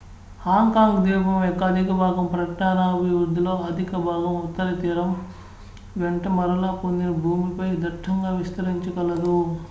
Hong Kong ద్వీపం యొక్క అధిక భాగం పట్టణాభివృద్దిలో అధిక భాగం ఉత్తర తీరం వెంట మరలా పొందిన భూమిపై దట్టంగా విస్తరించి కలదు